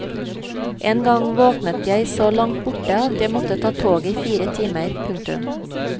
En gang våknet jeg så langt borte at jeg måtte ta toget i fire timer. punktum